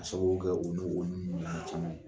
K'a sababu kɛ u n'u u n'u ɲɔgɔnna caman ye.